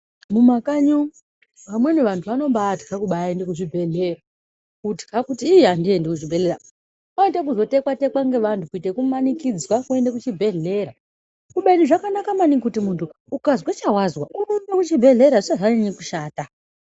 Mumakanyi umu vamweni vantu vanobaitya kumbaende kuzvibhedhleya kutya kuti iii handingamboendi kuchibhedhleya oite kuzotekwa tekwa ngevantu kuite yekumanikidzwa kuende kuchibhedhlera kubeni zvakanaka maningi kuti muntu ukazwe chawazwa urumbe kuchibhedhlera zvisati zvanyanya kushata.